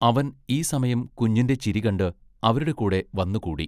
അവൻ ഈ സമയം കുഞ്ഞിന്റെ ചിരി കണ്ട് അവരുടെ കൂടെ വന്നു കൂടി.